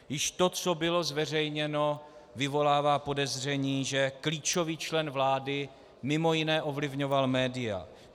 Již to, co bylo zveřejněno, vyvolává podezření, že klíčový člen vlády mimo jiné ovlivňoval média.